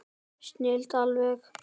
Snilld alveg!